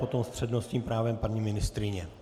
Potom s přednostním právem paní ministryně.